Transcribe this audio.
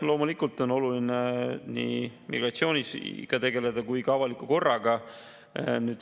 Loomulikult on oluline nii migratsiooniga tegeleda kui ka avaliku korraga.